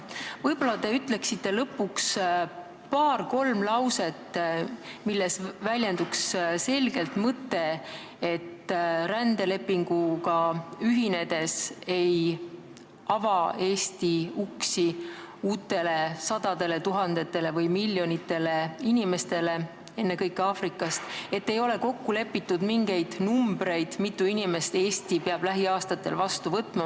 Võib-olla te ütlete lõpuks paar-kolm lauset, milles väljenduks selgelt mõte, et rändelepinguga ühinedes ei ava Eesti uksi uutele sadadele tuhandetele või miljonitele inimestele ennekõike Aafrikast, et ei ole kokku lepitud mingeid numbreid, kui mitu inimest Eesti peab lähiaastatel vastu võtma.